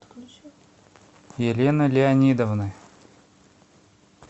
елены леонидовны